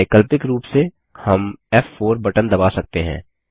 वैकल्पिक रूप से हम फ़4 बटन दबा सकते हैं